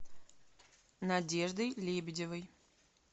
надеждой лебедевой